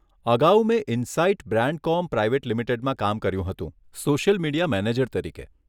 અગાઉ મેં Insight Brandcom પ્રા. લિ. માં કામ કર્યું હતું. લિમિટેડ સોશિયલ મીડિયા મેનેજર તરીકે.